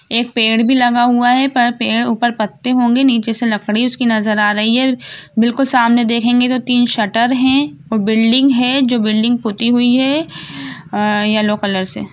एक पेड़ भी लगा हुआ है पर पेड़ ऊपर पत्ते होगी नीचे से लकड़ी उसकी नज़र आ रही है बिल्कुल सामने देखेंगे तो तीन शटर हैं और बिल्डिंग है जो बिल्डिंग पुती हुई है अ येल्लो कलर से।